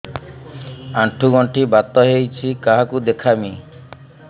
ଆଣ୍ଠୁ ଗଣ୍ଠି ବାତ ହେଇଚି କାହାକୁ ଦେଖାମି